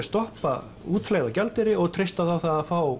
stoppa útflæði á gjaldeyri og treysta á það að fá